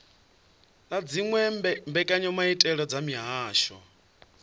na dziwe mbekanyamaitele dza mihasho